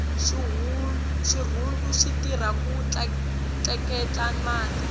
xirhundu xitirha ku tleketla mati